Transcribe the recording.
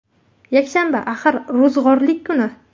Yakshanba, axir, ro‘zg‘orlik kuni.